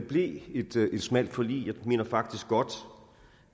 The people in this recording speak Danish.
blev et smalt forlig jeg mener faktisk godt